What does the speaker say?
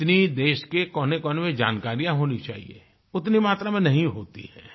जितनी देश के कोनेकोने में जानकारी होनी चाहिए उतनी मात्रा में नहीं होती है